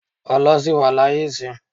Ọlọ ṣì wà ni aye isin